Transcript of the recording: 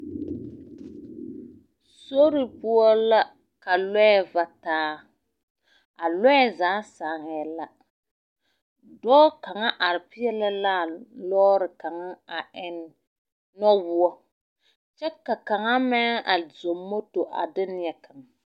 Sori poɔ la ka lɔɛ va taa. A lɔɛ zaa saŋɛɛ lɛ. dɔɔ kaŋa are peɛle laa lɔɔre kaŋa a eŋ nɔwoɔ, kyɛ ka kaŋa meŋ a zɔŋ moto a de neɛ kaŋa.